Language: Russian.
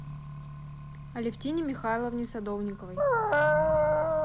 алевтине михайловне садовниковой